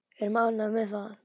Við erum ánægð með það.